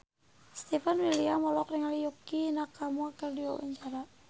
Stefan William olohok ningali Yukie Nakama keur diwawancara